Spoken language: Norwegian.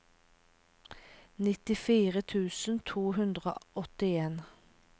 nittifire tusen to hundre og åttien